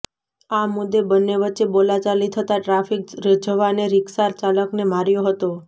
આ મુદ્દે બંને વચ્ચે બોલાચાલી થતાં ટ્રાફિક જવાને રીક્ષા ચાલકને માર્યો હતો